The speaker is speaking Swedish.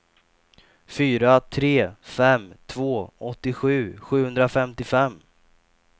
fyra tre fem två åttiosju sjuhundrafemtiofem